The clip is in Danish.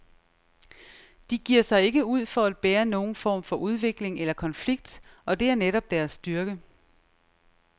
De giver sig ikke ud for at bære nogen form for udvikling eller konflikt, og det er netop deres styrke.